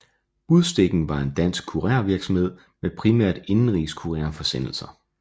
Budstikken var en dansk kurervirksomhed med primært indenrigs kurerforsendelser